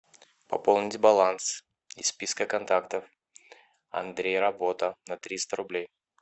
пополнить баланс из списка контактов андрей работа на триста рублей